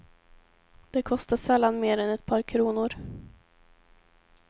Det kostar sällan mer än ett par kronor.